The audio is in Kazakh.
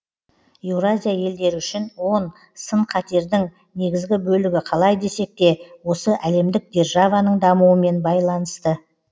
еуразия елдері үшін он сын қатердің негізгі бөлігі қалай десек те осы әлемдік державаның дамуымен байланысты